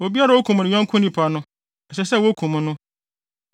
“ ‘Obiara a okum ne yɔnko nipa no, ɛsɛ sɛ wokum no.